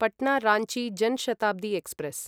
Patna Ranchi Jan Shatabdi express